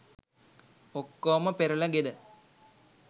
ඔක්කෝම පෙරලගෙන